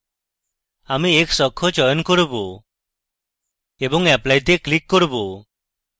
আমি x অক্ষ চয়ন করব এবং apply তে ক্লিক করব